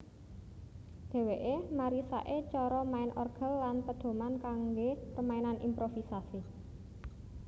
Dheweke marisake cara main orgel lan pedoman kangge permainan improvisasi